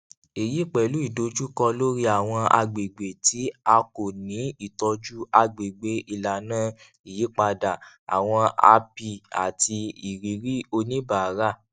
èyí pẹlú ìdojúkọ lórí àwọn agbègbè tí a kò ni ìtọjú agbègbè ìlànà ìyípadà àwọn api àti ìrírí oníbàárà